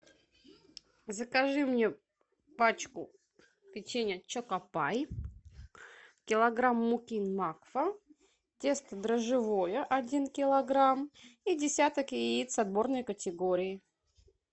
закажи мне пачку печенья чоко пай килограмм муки макфа тесто дрожжевое один килограмм и десяток яиц отборной категории